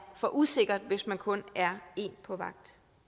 for usikkert hvis man kun er en på vagt